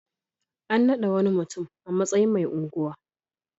An naɗa wani mutum a matsayin mai unguwa.